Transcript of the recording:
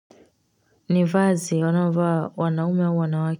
Ni vazi wanao vaa wanaume au wanawake.